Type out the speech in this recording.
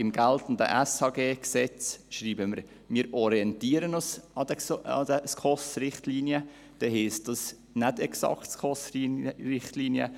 Im geltenden SHG schreiben wir, dass wir uns an den SKOS-Richtlinien orientieren, also heisst das: nicht exakt SKOS-Richtlinien.